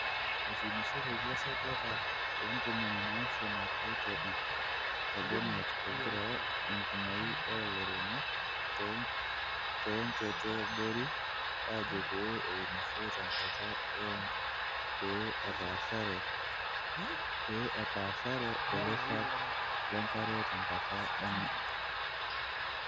Etuunishoteki esajata e ntomoni naapishana tiatua ipp te Bomet, egira enkumoi oo lairemok too nchote eabori aajo pee eunisho tenkata e OND pee epaashare olairang le nkare tenkata e MAM.